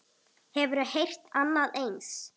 Hefurðu heyrt annað eins?